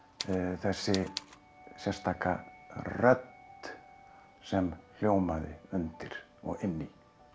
þessi sérstaka rödd sem hljómaði undir og inn í